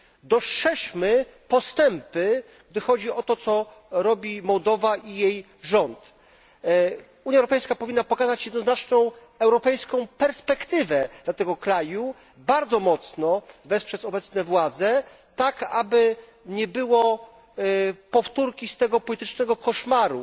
Dostrzeżmy postępy, gdy chodzi o to, co robi Mołdawia i jej rząd. Unia Europejska powinna pokazać jednoznaczną europejską perspektywę dla tego kraju, bardzo mocno wesprzeć obecne władze tak, aby nie było powtórki z tego politycznego koszmaru.